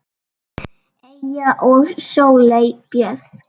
Eyja og Sóley Björk.